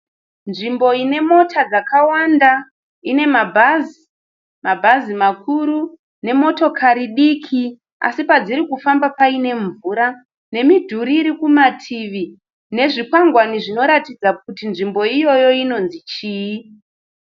Nzvimbo inemota dzakawanda, inemabhazi, mabhazi makuru, nemotokari diki, asi padziri kufamba pane mvura nemidhuri irikumativi nezvikwangani zvinoratidza kuti nzvimbo iyoyi inonzi chii.